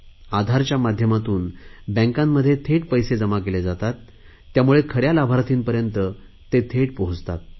आधारच्या माध्यमातून बँकांमध्ये थेट पैसे जमा केले जातात त्यामुळे खऱ्या लाभार्थीपर्यंत ते थेट पोहचतात